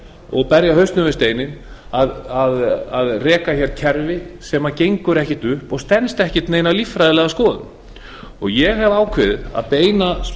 og berja hausnum við steininn að reka kerfi sem gengur ekkert upp og stenst ekki neina líffræðilega skoðun ég hef ákveðið að beina